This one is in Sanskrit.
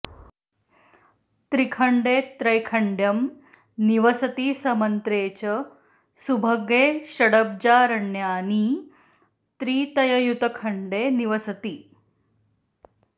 त्रिखण्डे त्रैखण्ड्यं निवसति समन्त्रे च सुभगे षडब्जारण्यानी त्रितययुतखण्डे निवसति